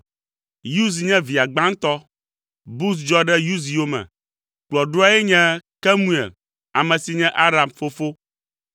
Uz nye via gbãtɔ, Buz dzɔ ɖe Uz yome, kplɔɖoae nye Kemuel (ame si nye Aram fofo).